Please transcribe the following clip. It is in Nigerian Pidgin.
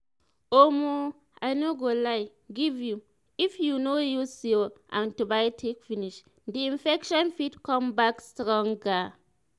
omo i no go lie give you if you no use your antibotics finish the infection fit come back stronger